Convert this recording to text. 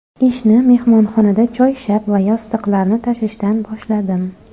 Ishni mehmonxonada choyshab va yostiqlarni tashishdan boshladim.